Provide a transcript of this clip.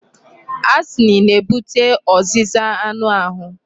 Acne na-ebute ọzịza anụ ahụ